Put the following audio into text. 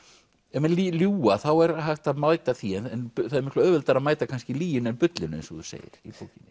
ef menn ljúga þá er hægt að mæta því það er miklu auðveldara að mæta kannski lyginni en bullinu eins og þú segir í bókinni